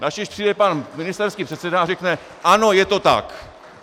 Načež přijde pan ministerský předseda a řekne: ano, je to tak.